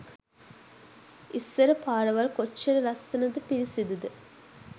ඉස්සර පාරවල් කොච්චර ලස්සනද පිරිසිදුද